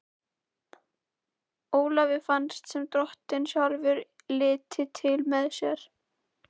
Ólafi fannst sem Drottinn sjálfur liti til með sér.